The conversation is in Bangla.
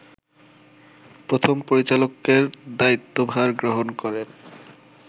প্রথম পরিচালকের দায়িত্বভার গ্রহণ করেন